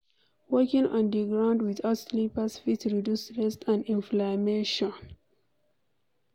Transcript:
Walking on di ground without slippers fit reduce stress and inflammation